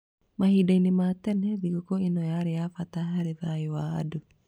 Mahinda-inĩ ma tene, thigũkũ ĩno yarĩ ya bata harĩ thayũ wa andũ.